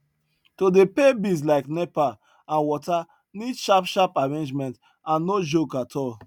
to dey pay bills like nepa and water need sharp sharp arrangement and no joke at all